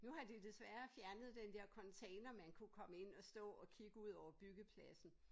Nu har de desværre fjernet den der container man kunne komme ind og stå og kigge ud over byggepladsen